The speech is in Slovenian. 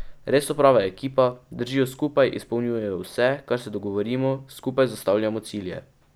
Res so prava ekipa, držijo skupaj, izpolnjujejo vse, kar se dogovorimo, skupaj zastavljamo cilje.